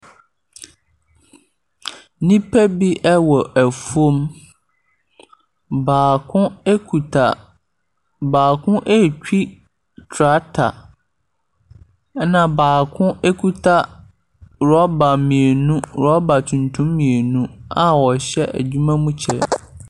Nnipa biɛwɔ afuom. Baako etwi trakta. Ɛna baako ekita rɔba tuntum mmienu ɔhyɛ adwuma mu kyɛ.